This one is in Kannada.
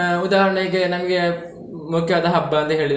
ಆಹ್ ಉದಾಹರಣೆಗೆ ನಮ್ಗೆ ಮುಖ್ಯವಾದ ಹಬ್ಬ ಅಂತ ಹೇಳಿದ್ರೆ.